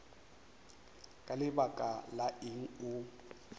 ka lebaka la eng o